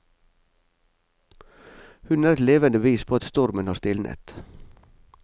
Hun er et levende bevis på at stormen har stilnet.